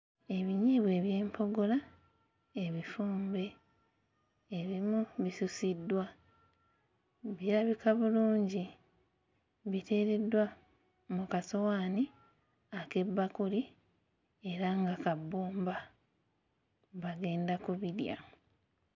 Ebinyeebwa eby'empogola ebifumbe ebimu bisusiddwa. Birabika bulungi biteereddwa mu kasowaani ak'ebbakuli era nga ka bbumba bagenda kubirya.